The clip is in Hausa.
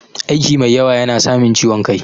Aiki mai yawa yana samin ciwon kai.